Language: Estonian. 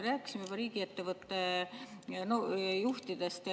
Me rääkisime juba riigiettevõtete juhtidest.